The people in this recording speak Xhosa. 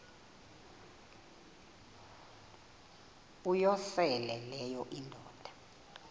uyosele leyo indoda